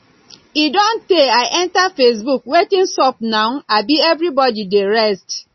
e don tey i enter facebook wetin sup now abi everybody dey rest